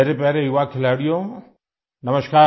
मेरे प्यारे युवा खिलाड़ियो नमस्कार